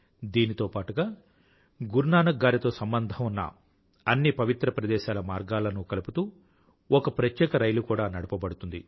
దీనితో పాటుగా గురునానక్ గారితో సంబంధం ఉన్న అన్ని పవిత్ర ప్రదేశాల మార్గాలనూ కలుపుతూ ఒక ప్రత్యేక రైలు కూడా నడపబడుతుంది